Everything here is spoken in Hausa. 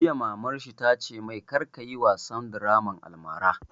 Jiya mamar shi ta ce mai "kar ka yi wasan draman almara"!